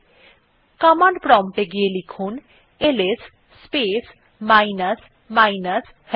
command prompt এ গিয়ে লিখুন IS space minus minus help